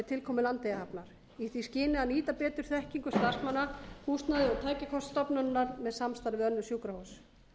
tilkomu landeyjahafnar í því skyni að nýta betur þekkingu starfsmanna húsnæði og tækjakost stofnunarinnar með samstarfi við önnur sjúkrahús